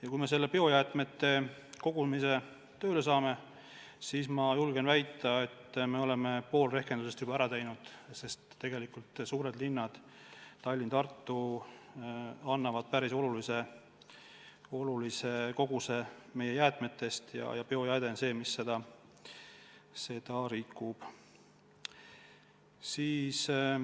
Ja kui me selle biojäätmete kogumise tööle saame, siis, julgen väita, me oleme pool rehkendusest juba ära teinud, sest tegelikult suured linnad Tallinn ja Tartu annavad märkimisväärse koguse meie jäätmetest ja biojääde on see, mis neid rikub.